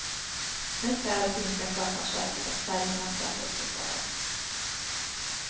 Nu kräver finska sjöfartsverket att färjornas säkerhet ses över.